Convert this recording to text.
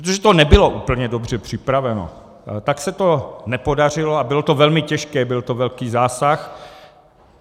Protože to nebylo úplně dobře připraveno, tak se to nepodařilo a bylo to velmi těžké, byl to velký zásah.